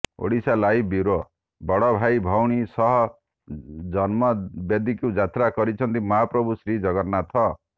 Odisha live bureau ବଡ଼ଭାଇ ଭଉଣୀଙ୍କ ସହ ଜନ୍ମବେଦୀକୁ ଯାତ୍ରା କରିଛନ୍ତି ମହାପ୍ରଭୁ ଶ୍ରୀଜଗନ୍ନାଥ